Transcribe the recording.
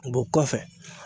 kɔfɛ